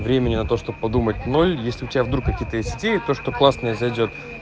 времени на то чтобы подумать ноль если у тебя вдруг какие-то есть то что классное и зайдёт